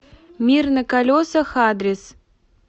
мир на колесах адрес